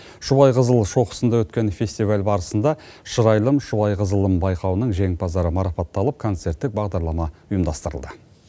шұбайқызыл шоқысында өткен фестиваль барысында шырайлым шұбайқызылым байқауының жеңімпаздары марапатталып концерттік бағдарлама ұйымдастырылды